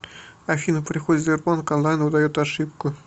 афина при входе в сбербанк онлайн выдает ошибку